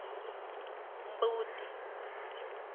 mbuti